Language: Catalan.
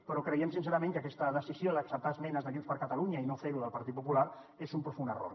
però creiem sincerament que aquesta decisió d’acceptar esmenes de junts per catalunya i no fer ho del partit popular és un profund error